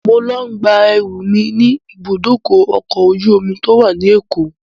Mo ń lọ gba ẹrú mi ni ibùdókọ̀ ọkọ̀ ojú omi to wá ní Èkó